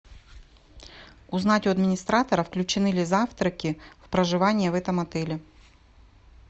узнать у администратора включены ли завтраки в проживание в этом отеле